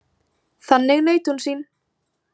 Þannig naut hún sín.